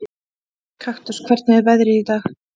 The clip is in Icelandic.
Kaktus, hvernig er veðrið í dag?